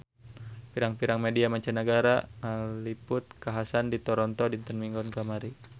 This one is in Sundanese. Pirang-pirang media mancanagara ngaliput kakhasan di Toronto dinten Minggon kamari